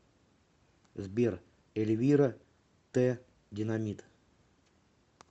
сбер эльвира тэ динамит